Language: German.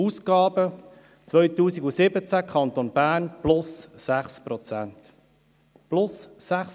Die Ausgaben 2017 stiegen im Kanton Bern um 6 Prozent.